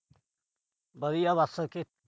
ਵਧੀਆ ਬਸ ਅਖੇ।